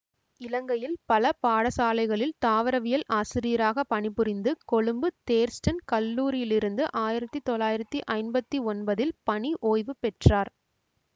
இலங்கையில் பல பாடசாலைகளில் தாவரவியல் ஆசிரியராக பணிபுரிந்து கொழும்பு தேர்ஸ்டன் கல்லூரியிலிருந்து ஆயிரத்தி தொள்ளாயிரத்தி ஐம்பத்தி ஒன்பதில் பணி ஓய்வு பெற்றார்